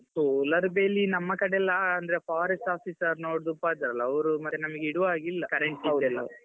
solar ಬೇಲಿ ನಮ್ಮ ಕಡೆ ಎಲ್ಲ ಅಂದ್ರೆ forest officer ನೋಡಿದ್ರು ಉಪದ್ರ ಅಲ್ಲ ಅವ್ರು ಮತ್ತೆ ನಮ್ಗೆ ಇಡುವಾಗೆ ಇಲ್ಲ current ದೆಲ್ಲಾ .